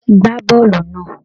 Gbá bọọlu náà!